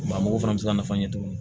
Mɔgɔ fana bɛ se ka nafa ɲɛ tuguni